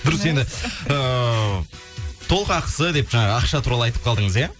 дұрыс енді ыыы толық ақысы деп жаңа ақша туралы айтып қалдыңыз иә